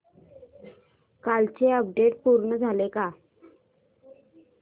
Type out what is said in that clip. कालचं अपडेट पूर्ण झालंय का